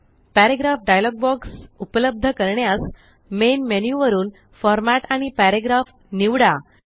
paragraph dialog box उपलब्ध करण्यास main menu वरून फॉर्मॅट आणि पॅराग्राफ निवडा